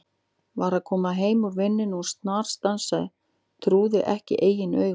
Var að koma heim úr vinnunni og snarstansaði, trúði ekki eigin augum.